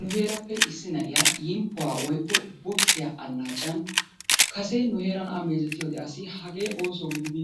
Nu heerappe issi na'iya yimppuwa woykko bokisiya annaaciyan kase nu heeran A mewzetiyode asi hagee ooso gididi